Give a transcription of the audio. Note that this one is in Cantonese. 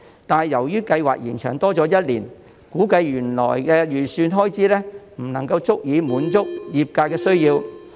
但是，由於計劃延長一年，估計原來的預算開支不足以滿足業界的需要。